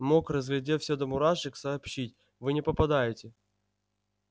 мог разглядев всё до мурашек сообщить вы не попадаете